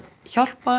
hjálpa